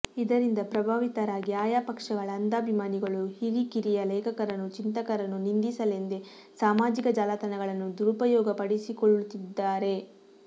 ಇದರಿಂದ ಪ್ರಭಾವಿತರಾಗಿ ಆಯಾ ಪಕ್ಷಗಳ ಅಂಧಾಭಿಮಾನಿಗಳು ಹಿರಿಕಿರಿಯ ಲೇಖಕರನ್ನು ಚಿಂತಕರನ್ನು ನಿಂದಿಸಲೆಂದೇ ಸಾಮಾಜಿಕ ಜಾಲತಾಣಗಳನ್ನು ದುರಪಯೋಗಪಡಿಸಿಕೊಳ್ಳುತ್ತಿದ್ದಾರೆ